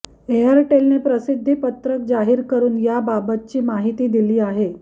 एअरटेलने प्रसिद्धीपत्रक जाहीर करून या बाबतची माहिती दिली आहे